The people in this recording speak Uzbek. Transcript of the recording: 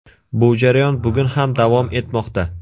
Bu jarayon bugun ham davom etmoqda.